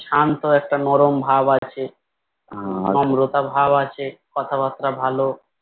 শান্ত একটা নরম ভাব আছে নম্রতার ভাব আছে কথা বার্তা ভালো